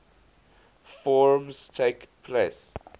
forms takes place